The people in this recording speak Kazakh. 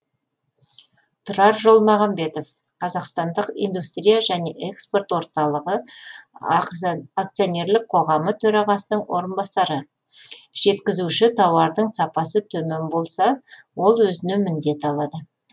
тұрар жолмағанбетов қазақстандық индустрия және экспорт орталығы акционерлік қоғамның төрағасының орынбасары жеткізуші тауардың сапасы төмен болса ол өзіне міндет алады